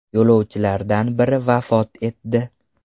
Yo‘lovchilardan biri vafot etdi.